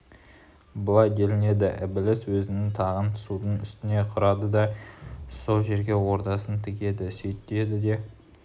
былай делінеді ібіліс өзінің тағын судың үстіне құрады да сол жерге ордасын тігеді сөйтеді де